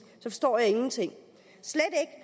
så forstår jeg ingenting